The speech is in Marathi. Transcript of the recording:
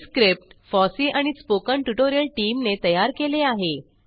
हे स्क्रिप्ट फॉसी आणि spoken ट्युटोरियल टीमने तयार केले आहे